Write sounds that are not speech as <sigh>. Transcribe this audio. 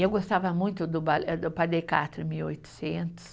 Eu gostava muito do <unintelligible> mil e oitocentos.